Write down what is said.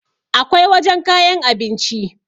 akwai wajen kayan abinci